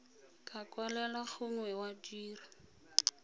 ka kwalela gongwe wa dira